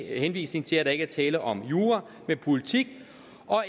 henvisning til at der ikke er tale om jura men politik